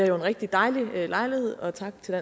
jo en rigtig dejlig lejlighed og tak til